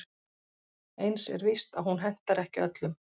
Eins er víst að hún hentar ekki öllum.